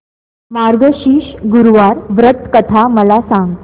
मार्गशीर्ष गुरुवार व्रत कथा मला सांग